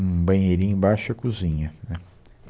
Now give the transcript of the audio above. Um banheirinho embaixo e a cozinha, né